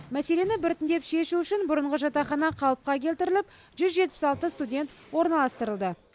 мәселені біртіндеп шешу үшін бұрынғы жатақхана қалыпқа келтіріліп жүз жетпіс алты студент орналастырылды